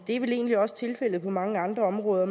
er vel egentlig også tilfældet på mange andre områder